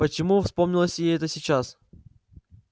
почему вспомнилось ей это сейчас